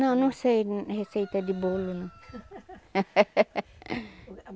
Não, não sei receita de bolo, não.